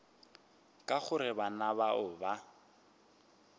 ka gore bana bao ba